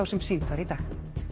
sem sýnd var í dag